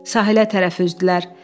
Sahilə tərəfi üzdülər.